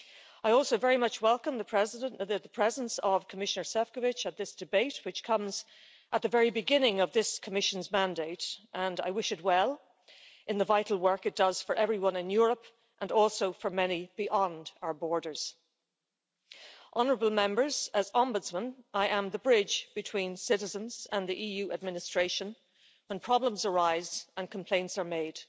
I also very much welcome the presence of Commissioner Šefčovič at this debate, which comes at the very beginning of this Commission's mandate and I wish it well in the vital work it does for everyone in Europe and also for many beyond our borders, Honourable Members, as Ombudsman I am the bridge between citizens and the EU administration when problems arise and complaints are made.